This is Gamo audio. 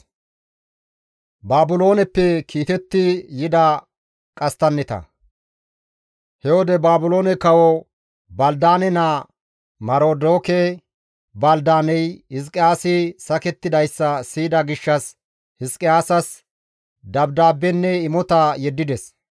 He wode Baabiloone kawo Balidaane naa Marodoke-Baldaane Hizqiyaasi sakettidayssa siyida gishshas Hizqiyaasas dabdaabbenne imota yeddides.